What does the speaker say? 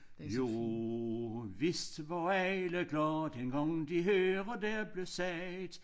Jo vist var alle glade dengang de hørte der blev sagt